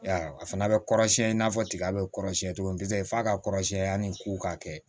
Ya a fana bɛ kɔrɔsiyɛn i n'a fɔ tiga bɛ kɔrɔsiyɛn cogo min f'a ka kɔrɔsiyɛn yanni ko ka kɛ